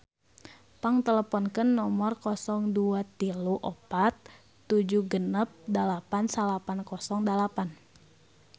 Pang teleponkeun nomer 0234 768908